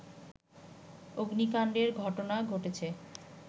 অগ্নিকাণ্ডের ঘটনা ঘটেছে